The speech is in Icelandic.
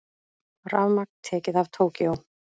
Rafmagn tekið af Tókýó